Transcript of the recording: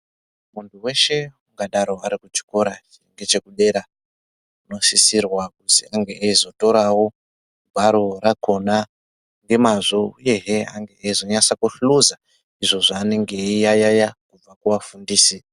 Muntu weshe ungadaro arikuchikora ngechekudera unosisirwa kuzi ange eizotorawo gwaro rakhona ngemazvo ehe ange eizonyasa kuhluza izvo zvaanenge eiyayaya kubva kuvafundisi.